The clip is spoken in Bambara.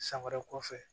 San wɛrɛ kɔfɛ